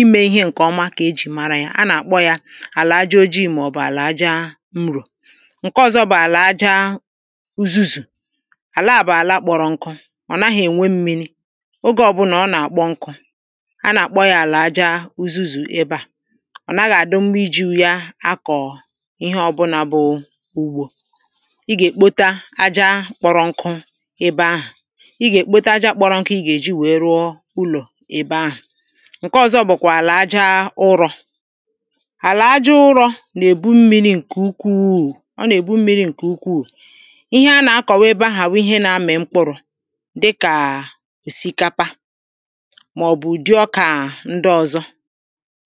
Ịmē ịhē ṅkē ọma keji mara ya, áná kpọ ya àlà àjá ojịị ma ọbụ àlà àjá ṅrōō Ṅkē ọ̀zọ́ bụ àlà àjá ụ̀zūzū Àláá bụ àlà kpọ̀rọ́ ṅkụ̀ Ọ naghị eṅwē mmịnị Ọ̀gē ọ̀bụná ọ na-kpọ́ ṅkụ̀ Ána ákpọ̀ ya àlà àjá ụ̀zūzū ēbē á Ọ nàghá adimmá ị̀jú ya ákọ̀ ịhē ọ̀bụná bụ ụgbo Ìgē kpota àjá kpọrọ ṅkụ ēbē ahụ Ìgē kpota àjá kpọrọ ṅkụ iga eji wēē rụọ ụlọ ēbē ahụ Ṅkē ọzọ bụ kwa àlà àjá ụ̀rọọ̀ Àlà àjá ụ̀rọọ̀ na-ebu mmini ṅkē ùkwuù, ọ na-ebu mmiri nkē ùkwù Ịhē áná àkọwà ēbēhá bụ ihē na-ami mkpụrụ Dikáá ẹsikàpá Mọọbụ ụdị òkáá ṅdi ọ̀zọ́